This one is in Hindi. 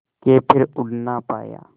के फिर उड़ ना पाया